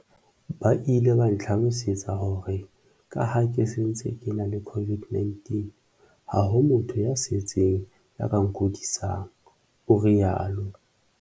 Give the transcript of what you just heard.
"Ba ile ba ntlhalosetsa hore ka ha ke se ntse ke ena le COVID-19, ha ho motho ya setsing ya ka nkudisang," o rialo.